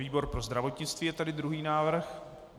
Výbor pro zdravotnictví je tedy druhý návrh.